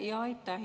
Aitäh!